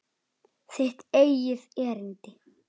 Þitt eigið erindi.